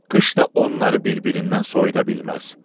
Qış da onları bir-birindən soyuda bilməz.